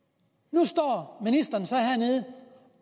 nu står ministeren så hernede